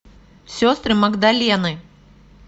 сестры магдалены